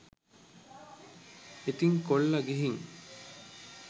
ඉතින් කොල්ල ගිහින්